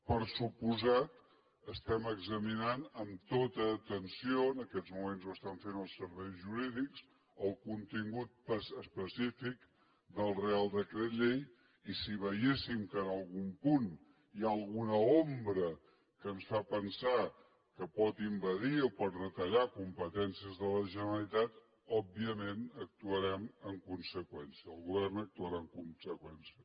per descomptat estem examinant amb tota atenció en aquests moments ho estan fent els serveis jurídics el contingut específic del reial decret llei i si veiéssim que en algun punt hi ha alguna ombra que ens fa pensar que pot envair o pot retallar competències de la generalitat òbviament actuarem en conseqüència el govern actuarà en conseqüència